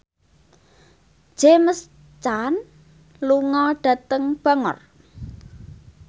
James Caan lunga dhateng Bangor